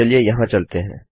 चलिए यहाँ चलते हैं